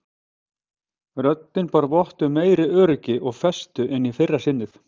Röddin bar vott um meiri öryggi og festu en í fyrra sinnið.